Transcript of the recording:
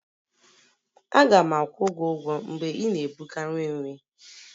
Aga m akwụ gị ụgwọ mgbe ị na-ebuga nri nri